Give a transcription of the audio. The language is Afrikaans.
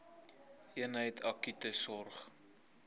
eenheid akute sorg